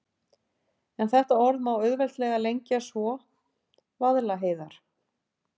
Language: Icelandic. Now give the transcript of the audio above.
En þetta orð má auðveldlega lengja svo: Vaðlaheiðar.